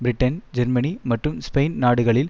Britain Germany மற்றும் Spain நாடுகளில்